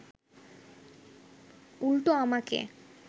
উল্টো আমাকে